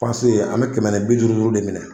Panse an mɛ kɛmɛ ni bi duuru duuru de minɛ.